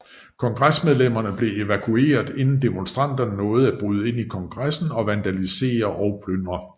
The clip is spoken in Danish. Kongresmedlemmerne blev evakueret inden demonstranterne nåede at bryde ind i Kongressen og vandalisere og plyndre